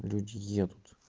люди едут